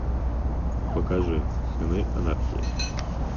покажи сыны анархии